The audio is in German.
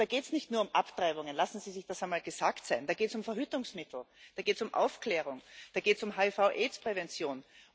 Und da geht es nicht nur um Abtreibungen lassen Sie sich das einmal gesagt sein Da geht es um Verhütungsmittel, da geht es um Aufklärung, da geht es um HIV AIDS Prävention.